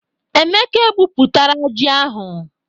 Emeka egbupụtara ji ahụ.